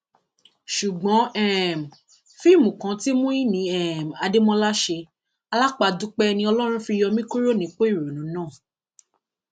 ó ní ìyá ni um mí abiyamọ lèmi náà um oṣù mẹjọ ni mo fi gbé ọmọ mi sínú